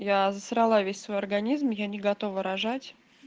я засрала весь свой организм я не готова рожать